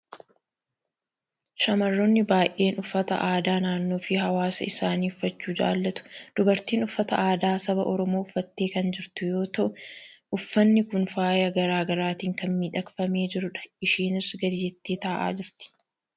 Shamarroonni baay'een uffata aadaa naannoo fi hawaasa isaanii uffachuu jaalatu. Dubartiin uffata aadaa saba Oromoo uffattee kan jirtu yoo ta'u, uffanni kun faaya garaa garaatiin kan miidhagfamee jirudha. Ishiinis gadi jettee taa'aa jirti.